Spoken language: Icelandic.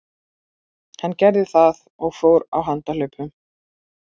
Hann gerði það og fór á handahlaupum.